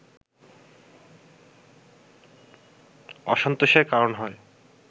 অসন্তোষের কারণ হয়